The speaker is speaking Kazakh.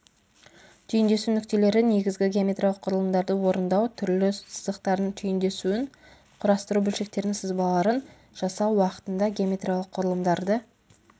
түйіндесу нүктелері негізгі геометриялық құрылымдарды орындау түрлі сызықтардың түйіндесуін құрастыру бөлшектердің сызбаларын жасау уақытында геометриялық құрылымдарды